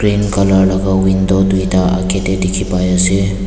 colour laka window tuita akaetae dikhipaiase.